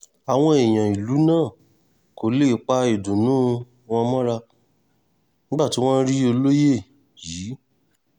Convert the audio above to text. àwọn èèyàn ìlú náà kò lè pa ìdùnnú wọn mọ́ra nígbà tí wọ́n rí olóye yìí